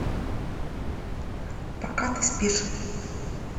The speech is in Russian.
пока ты спишь